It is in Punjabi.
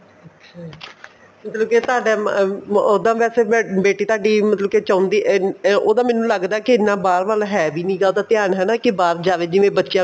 ਅੱਛਾ ਜੀ ਮਤਲਬ ਕੀ ਤੁਹਾਡੇ ਉਹਦਾ ਵੈਸੇ ਬੇਟੀ ਤੁਹਾਡੀ ਮਤਲਬ ਕੀ ਚਾਹੁੰਦੀ ਅਹ ਉਹਦਾ ਮੈਨੂੰ ਲੱਗਦਾ ਕੇ ਐਨਾ ਬਾਹਰ ਵਾਲਾ ਹੈ ਵੀ ਨਹੀਂ ਹੈਗਾ ਉਹਦਾ ਧਿਆਨ ਹੈਨਾ ਵੀ ਬਹਾਰ ਜਾਵੇ ਜਿਵੇਂ ਬੱਚਿਆ ਨੂੰ